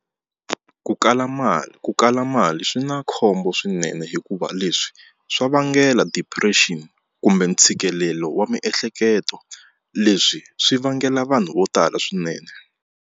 Ku kala mali ku kala mali swi na khombo swinene hikuva leswi swa vangela depression kumbe ntshikelelo wa miehleketo leswi swi vangela vanhu vo tala swinene.